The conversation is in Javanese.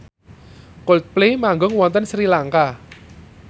Coldplay manggung wonten Sri Lanka